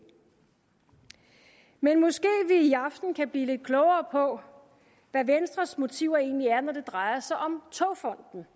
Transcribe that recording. men måske vi i aften kan blive lidt klogere på hvad venstres motiver egentlig er når det drejer sig om togfonden